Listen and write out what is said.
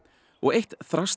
og eitt